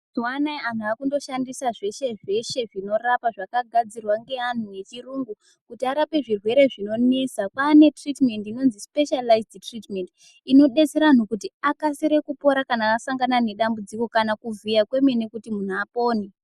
Mazuwa anaya antu akungoshandisa zveshe zveshe zvinorapa zvakagadzirwa ngeantu yechiyungu kuti arape zvirwere zvinonesa. Kwaane tiritimendi inozi sipeshiyalizadi tiritimendi inodetsera antu kuti akasire kupora kana asangana nedambudziko kana kuvhiya kwemene kuti muntu apone.